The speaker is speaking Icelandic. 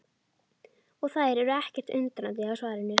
Og þær eru ekkert undrandi á svarinu.